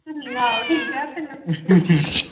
ਹਮ ਆਹੋ ਠੀਕੇ